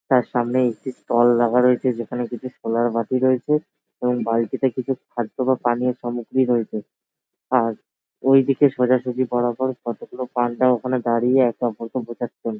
তার সামনে একটি স্টল লাগা রয়েছে। যেখানে দুটি সোনার বাটি রয়েছে এবং বালতিতে কিছু খাদ্য বা পানীয় সমগ্রী রয়েছে আর এইদিকে সোজাসুজি বরাবর কতগুলো পান্ডা ওখানে দাড়িয়ে একে অপরকে বোঝাচ্ছেন ।